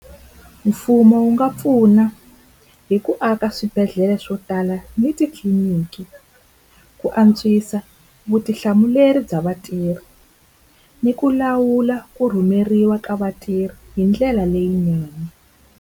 Mfumo wu nga pfuna hi ku aka swibedhlele swo tala ni titliliniki, ku antswisa vutihlamuleri bya vatirhi ni ku lawula ku rhumeriwa ka vatirhi hi ndlela leyinene.